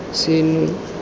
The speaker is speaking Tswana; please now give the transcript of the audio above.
seno